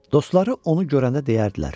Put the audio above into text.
Dostları onu görəndə deyərdilər: